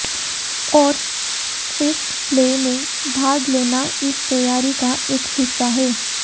और street play में भाग लेना इस तैयारी का एक हिस्सा है